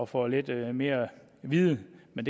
få lidt mere viden men